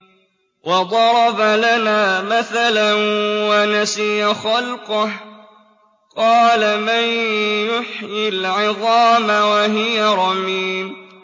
وَضَرَبَ لَنَا مَثَلًا وَنَسِيَ خَلْقَهُ ۖ قَالَ مَن يُحْيِي الْعِظَامَ وَهِيَ رَمِيمٌ